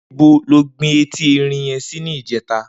Nibó ló gbin éti èrín yèn si nijètá?